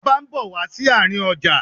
Ọba ń bọ̀ wá sí àárín ọjà.